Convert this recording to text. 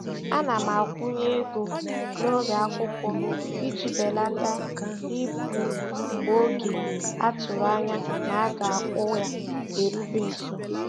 Ana m akwụnye ego n'oge akwụkwọ iji belata ibu mgbe oge a tụrụ anya na-aga akwụ ya erube nso.